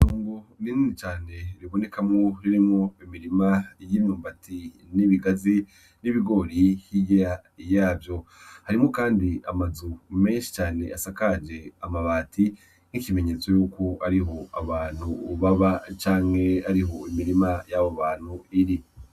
Kungu rini cane ribonekamwo ririmwo imirima y'inyumbati n'ibigazi n'ibigori hiya yavyo harimwo, kandi amazeu menshi cane asakaje amabati nk'ikimenyetso yuko ariho abantu ubaba canke ariho imirima y'abo bantu iri.